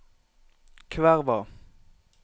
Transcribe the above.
Kverva